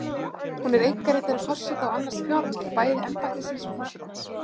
Hún er einkaritari forseta og annast fjármál, bæði embættisins og forsetans.